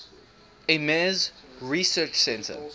ames research center